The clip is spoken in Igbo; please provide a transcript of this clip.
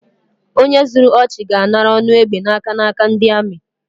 Onye zuru ọchị, ga-anara ọnụ egbe n’aka n’aka ndi amị